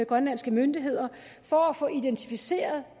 grønlandske myndigheder for at få identificeret